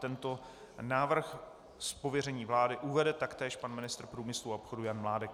Tento návrh z pověření vlády uvede taktéž pan ministr průmyslu a obchodu Jan Mládek.